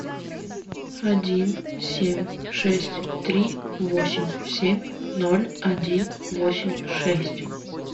один семь шесть три восемь семь ноль один восемь шесть